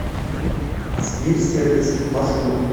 сибирь сервис маршрут